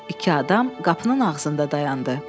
İki adam qapının arasında dayandı.